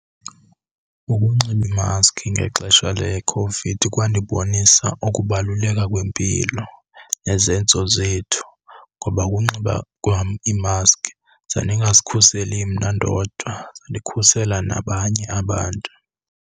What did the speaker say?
Ukunxiba imaskhi ngexesha leCOVID kwandibonisa ukubaluleka kwempilo nezenzo zethu. Ngoba ukunxiba kwam imaskhi zandingazikhuseli mna ndodwa, zandikhusela nabanye abantu.